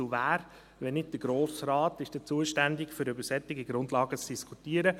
Wer, wenn nicht der Grosse Rat, ist zuständig, um über solche Grundlagen zu diskutieren?